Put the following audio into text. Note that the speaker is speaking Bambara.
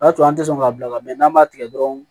O y'a sɔrɔ an tɛ sɔn k'a bila n'an m'a tigɛ dɔrɔn